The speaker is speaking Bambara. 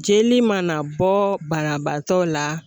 Jeli mana bɔ banabaatɔ la